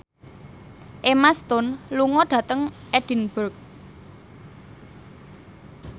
Emma Stone lunga dhateng Edinburgh